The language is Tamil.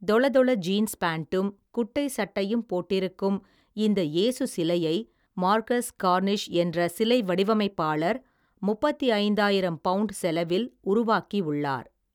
தொள தொள ஜீன்ஸ் பேண்ட்டும் குட்டை சட்டையும் போட்டிருக்கும் இந்த இயேசு சிலையை மார்கஸ் கார்னிஷ் என்ற சிலை வடிவமைப்பாளர் முப்பத்தி ஐந்தாயிரம் பவுண்ட் செலவில் உருவாக்கி உள்ளார்.